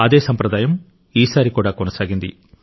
అదే సంప్రదాయం ఈసారి కూడా కొనసాగింది